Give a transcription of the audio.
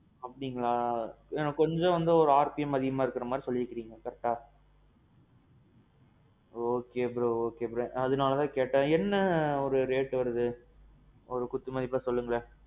அப்படீங்களா? இல்ல கொஞ்சம் வந்து RPM அதிகமா இருக்குற மாறி சொல்லிருக்கீங்க correct? okay bro okay bro அதனால தான் கேட்டேன், என்ன ஒரு rate வருது? ஒரு குத்து மதிப்பா சொல்லுங்களேன்.